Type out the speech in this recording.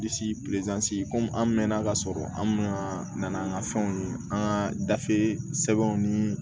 Bilisi komi an mɛnna k'a sɔrɔ an mina na n'an ka fɛnw ye an ka gafe sɛbɛnw ni